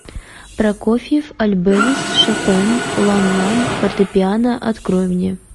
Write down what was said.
прокофьев альбенис шопен лан лан фортепиано открой мне